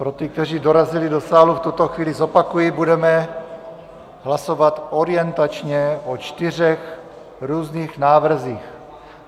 Pro ty, kteří dorazili do sálu, v tuto chvíli zopakuji, budeme hlasovat orientačně o čtyřech různých návrzích.